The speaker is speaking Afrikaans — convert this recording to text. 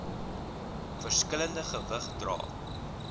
verskillende gewig dra